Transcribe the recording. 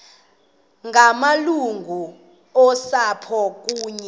ngamalungu osapho kunye